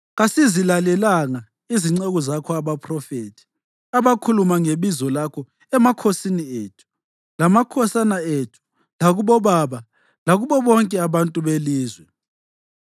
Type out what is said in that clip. Kasizilalelanga izinceku zakho abaphrofethi abakhuluma ngebizo lakho emakhosini ethu, lamakhosana ethu lakubobaba lakubo bonke abantu belizwe.